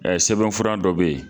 sɛbɛnfura dɔ be yen